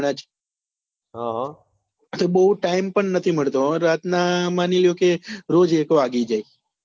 એટલે બઉ time પણ નથી મળતો હવે રાત નાં માની લો કે રોજ એક વાગી જાય